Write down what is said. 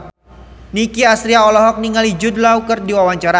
Nicky Astria olohok ningali Jude Law keur diwawancara